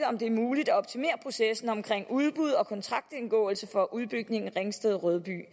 om det er muligt at optimere processen omkring udbud og kontraktindgåelse for udbygningen af ringsted rødby